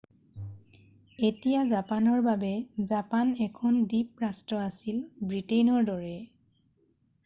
এতিয়া জাপানৰ বাবে৷ জাপান এখন দ্বীপ ৰাষ্ট্ৰ আছিল ব্ৰিটেইনৰ দৰে৷